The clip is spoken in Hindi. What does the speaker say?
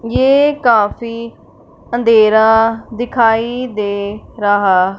ये काफी अंधेरा दिखाई दे रहा--